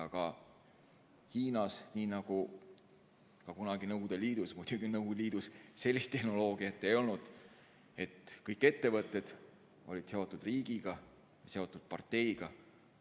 Aga Hiinas, nii nagu ka kunagi Nõukogude Liidus – muidugi Nõukogude Liidus sellist tehnoloogiat ei olnud –, olid kõik ettevõtted seotud riigiga ja parteiga.